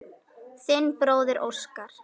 Þinn bróðir Óskar.